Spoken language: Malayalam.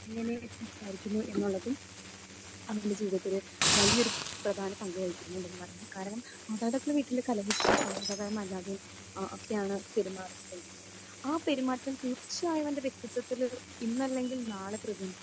എങ്ങനെ സംസാരിക്കുന്നു എന്നുള്ളതും അവരുടെ ജീവിതത്തിൽ വലിയൊരു പ്രധാന പങ്ക് വഹിക്കുന്നുണ്ടെന്ന് പറയാം. കാരണം മാതാപിതാക്കൾ വീട്ടിൽ കലഹിച്ച് സൗഹൃദപരമല്ലാതെ അഹ് ഒക്കെയാണ് പെരുമാറുന്നത് എങ്കിൽ ആ പെരുമാറ്റം തീർച്ചയായും അവരുടെ വ്യക്തിത്വത്തിലൊരു ഇന്നല്ലെങ്കിൽ നാളെ പ്രതിഫലിക്കും.